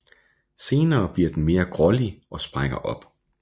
Senere bliver den mere grålig og sprækker op